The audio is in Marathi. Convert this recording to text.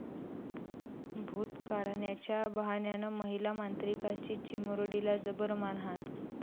भूत काढण्याच्या बहाण्यानं महिला मांत्रिकाची चिमुरडीला जबर मारहाण